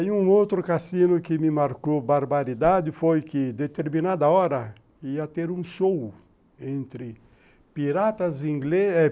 E um outro cassino que me marcou barbaridade foi que, determinada hora, ia ter um show entre piratas e os barcos ingleses é